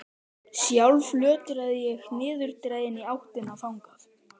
Sjálf lötraði ég niðurdregin í áttina þangað.